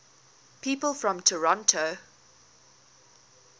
people from toronto